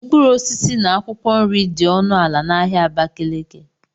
Mkpụrụ osisi na akwụkwọ nri dị ọnụ ala na ahịa Abakaliki